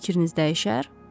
Fikriniz dəyişər?